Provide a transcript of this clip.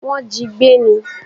Wọ́n jí i gbé ní.